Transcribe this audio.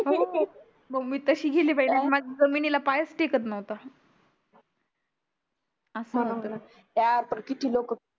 हो मंग मी तशी गेली बया माझी जमिनीला पायच टेकत नव्हतं असय बया किती लोक